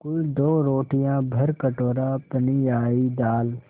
कुल दो रोटियाँ भरकटोरा पनियाई दाल